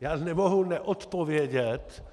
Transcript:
Já nemohu neodpovědět